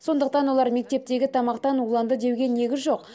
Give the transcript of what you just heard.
сондықтан олар мектептегі тамақтан уланды деуге негіз жоқ